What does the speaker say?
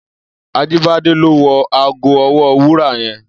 Ajibade lò wò àgó òwò wúrà yèn